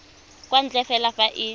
kwa ntle fela fa e